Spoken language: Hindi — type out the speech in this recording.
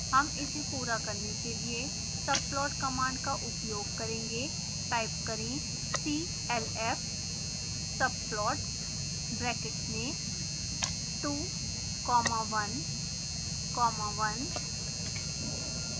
हम इसे पूरा करने के लिए subplot कमांड का उपयोग करेंगे